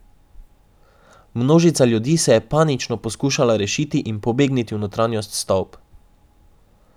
Množica ljudi se je panično poskušala rešiti in pobegniti v notranjost stavb.